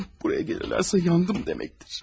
Buraya gəlirlərsə yandım deməkdir.